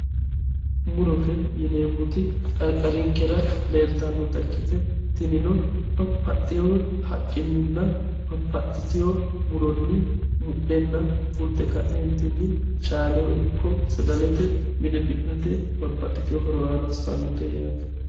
Murote yinneemmoti qariqarinkera leelittanotta ikkittanna tinino babbaxeyo haqqininna babbaxiteyo muroni mudhenna fulite kaetinni caaleho ikko sagalete mine mi'nate babbaxitino horo aana hosanote yaate.